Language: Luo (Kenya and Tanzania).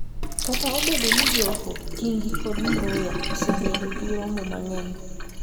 Kata obedo ni joho, Kingi kod Mvurya osebedo gi romo mang'eny,